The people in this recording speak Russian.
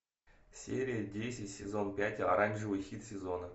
серия десять сезон пять оранжевый хит сезона